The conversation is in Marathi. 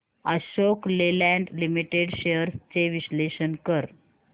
अशोक लेलँड लिमिटेड शेअर्स चे विश्लेषण कर